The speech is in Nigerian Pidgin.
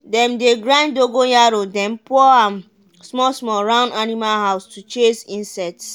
dem dey grind dogonyaro den pour am small small round animal house to chase insects.